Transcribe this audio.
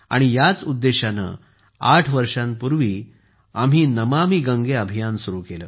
याच उद्देशाने आठ वर्षांपूर्वी आम्ही नमामि गंगे अभियान सुरू केले